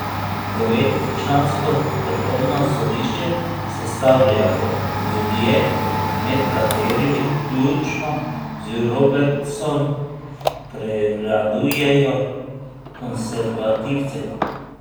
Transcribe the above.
Devetčlansko vrhovno sodišče sestavljajo ljudje, med katerimi, vključno z Robertsom, prevladujejo konservativci.